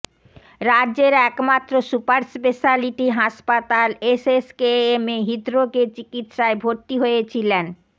রাজ্যের একমাত্র super speciality হাসপাতাল এসএসকেএমে হৃদ্রোগের চিকিৎসায় ভর্তি হয়েছিলেন